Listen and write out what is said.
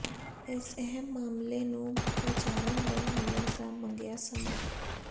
ਇਸ ਅਹਿਮ ਮਾਮਲੇ ਨੂੰ ਵਿਚਾਰਨ ਲਈ ਮਿਲਣ ਦਾ ਮੰਗਿਆ ਸਮਾਂ